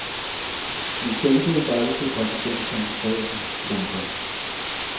Han sendte et brev til præsidentkandidaten. punktum